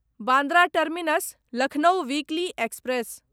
Bandra terminus Lucknow weekly express